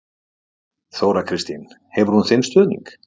Þóra Kristín: Hefur hún þinn stuðning?